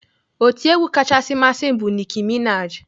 Otiegwu kachasị masị m bụ Nicki Minaj.